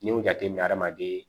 N'i y'u jateminɛ adamaden